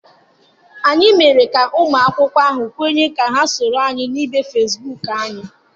Anyị mere ka ụmụ akwụkwọ ahụ kwenye ka ha soro anyị na ibe Facebook anyị.